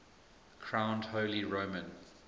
crowned holy roman